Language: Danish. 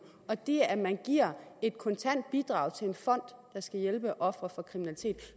og det at man giver et kontant bidrag til en fond der skal hjælpe ofre for kriminalitet